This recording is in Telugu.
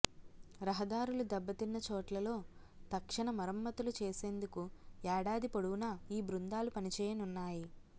రహ దారులు దెబ్బతిన్న చోట్లలో తక్షణ మరమ్మతులు చేసేందుకు ఏడాది పొడవున ఈ బృందా లు పనిచేయనున్నాయి